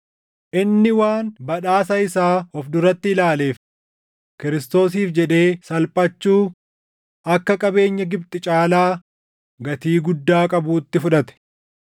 Inni waan badhaasa isaa of duratti ilaaleef, Kiristoosiif jedhee salphachuu akka qabeenya Gibxi caalaa gatii guddaa qabuutti fudhate.